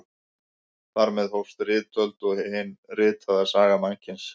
Þar með hófst ritöld og hin ritaða saga mannkyns.